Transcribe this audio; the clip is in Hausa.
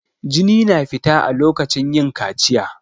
Jini na fita a lokacin yin kaciya.